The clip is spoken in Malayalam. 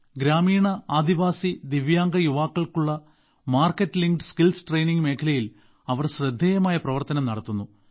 ഗ്രാമീണ ആദിവാസി ദിവ്യാംഗ യുവാക്കൾക്കുള്ള മാർക്കറ്റ് ലിങ്ക്ഡ് സ്കിൽസ് ട്രെയിനിംഗ് മേഖലയിൽ അവർ ശ്രദ്ധേയമായ പ്രവർത്തനം നടത്തുന്നു